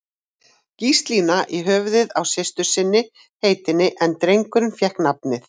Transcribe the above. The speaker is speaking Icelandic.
Gíslína í höfuðið á systur sinni heitinni, en drengurinn fékk nafnið